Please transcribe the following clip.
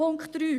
Punkt 3